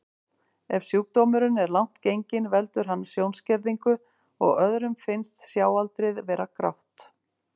Ef sjúkdómurinn er langt genginn veldur hann sjónskerðingu og öðrum finnst sjáaldrið vera grátt.